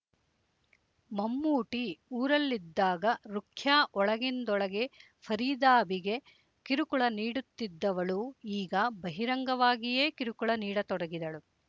ಮಮ್ಮೂಟಿ ಊರಲ್ಲಿದ್ದಾಗ ರುಖ್ಯಾ ಒಳಗಿಂದೊಳಗೆ ಫರೀದಾಬಿಗೆ ಕಿರುಕುಳ ನೀಡುತ್ತಿದ್ದವಳು ಈಗ ಬಹಿರಂಗವಾಗಿಯೇ ಕಿರುಕುಳ ನೀಡತೊಡಗಿದಳು